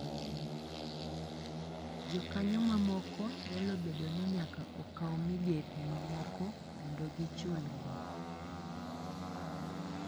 Jokanyo mamoko nyalo bedo ni nyaka okaw migepe mamoko mondo gichulgi.